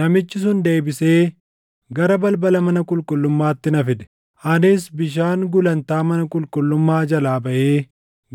Namichi sun deebisee gara balbala mana qulqullummaatti na fide; anis bishaan gulantaa mana qulqullummaa jalaa baʼee